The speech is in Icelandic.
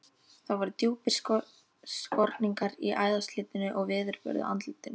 Það voru djúpir skorningar í æðaslitnu og veðurbörðu andlitinu.